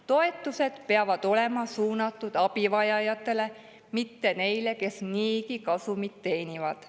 Toetused peavad olema suunatud abivajajatele, mitte neile, kes niigi kasumit teenivad.